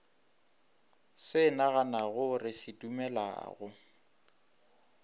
se naganago re se dumelago